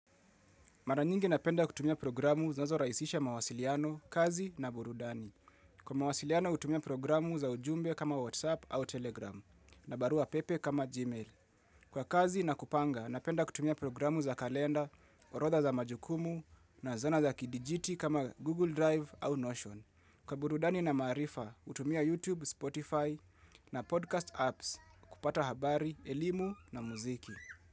Mara nyingi napenda kutumia programu zinazo rahisisha mawasiliano, kazi na burudani. Kwa mawasiliano hutumia programu za ujumbe kama WhatsApp au Telegram na barua pepe kama Gmail. Kwa kazi na kupanga napenda kutumia programu za kalenda, orodha za majukumu na zana za kidijiti kama Google Drive au Notion. Kwa burudani na maarifa hutumia YouTube, Spotify na podcast apps kupata habari, elimu na muziki.